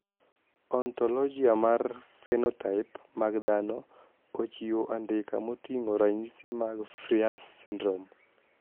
Ontologia mar phenotype mag dhano ochiwo andika moting`o ranyisi mag Frias syndrome.